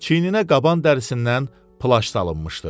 Çiyininə qaban dərisindən plaş salınmışdı.